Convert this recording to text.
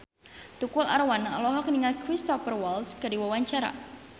Tukul Arwana olohok ningali Cristhoper Waltz keur diwawancara